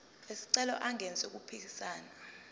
wesicelo engenzi okuphikisana